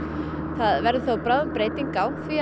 það verður þó bráðum breyting á því að